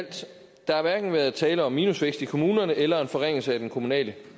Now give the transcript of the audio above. der hverken været tale om minusvækst i kommunerne eller en forringelse af den kommunale